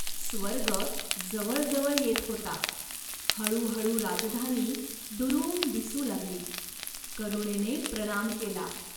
स्वर्ग जवळ जवळ येत होता. हळूहळू राजधानी दुरून दिसू लागली, करुणेने प्रणाम केला.